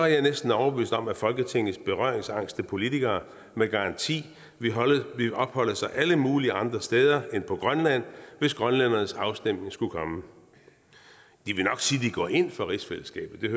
er næsten overbevist om at folketingets berøringsangste politikere med garanti ville opholde sig alle mulige andre steder end på grønland hvis grønlændernes afstemning skulle komme de vil nok sige at de går ind for rigsfællesskabet